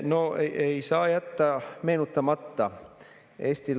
No ei saa jätta meenutamata.